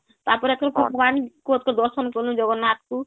ତାପରେ ତ ଏଥର ଭଗବାନ ଙ୍କର ଦର୍ଶନ କଲୁ ଜଗନ୍ନାଥ ଙ୍କୁ